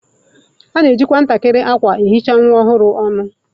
A na-ejikwa ntakịrị akwa ehicha nwa ọhụrụ ọnụ.